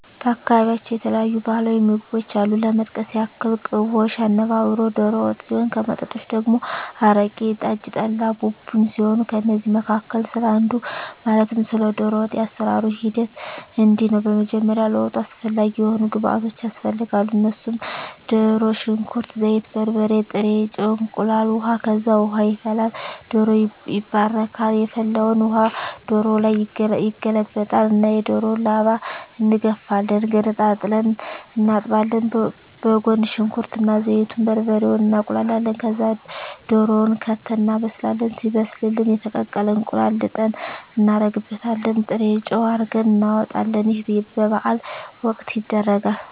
በአካባቢያቸው የተለያዩ ባህላዊ ምግቦች አሉ ለመጥቀስ ያክል ቅቦሽ፣ አነባበሮ፣ ዶሮ ወጥ ሲሆን ከመጠጦች ደግሞ አረቂ፣ ጠጅ፣ ጠላ፣ ቡቡኝ ሲሆኑ ከእነዚህ መካከል ስለ አንዱ ማለትም ስለ ዶሮ ወጥ የአሰራሩ ሂደት እንዲህ ነው በመጀመሪያ ለወጡ አስፈላጊ የሆኑ ግብዓቶች ያስፈልጋሉ እነሱም ድሮ፣ ሽንኩርት፣ ዘይት፣ በርበሬ፣ ጥሬ ጨው፣ እንቁላል፣ ውሀ፣ ከዛ ውሃ ይፈላል ዶሮው ይባረካል የፈላውን ውሀ ዶሮው ላይ ይገለበጣል እና የዶሮውን ላባ እንጋፍፋለን ገነጣጥለን እናጥባለን በጎን ሽንኩርት እና ዘይቱን፣ በርበሬውን እናቁላላለን ከዛ ድሮውን ከተን እናበስላለን ሲበስልልን የተቀቀለ እንቁላል ልጠን እናረግበታለን ጥሬጨው አርገን እናወጣለን ይህ በበዓል ወቅት ይደረጋል።